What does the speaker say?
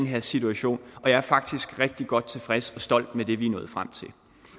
her situation og jeg er faktisk rigtig godt tilfreds og stolt af det vi er nået frem til